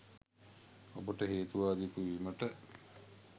ඔබට හේතු වාදියෙකු වීමට